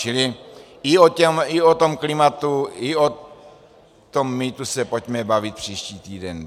Čili i o tom klimatu i o tom mýtu se pojďme bavit příští týden.